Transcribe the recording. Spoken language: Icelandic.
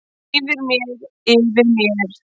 Yfir mér, yfir mér.